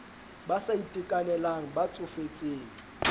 ba sa itekanelang ba tsofetseng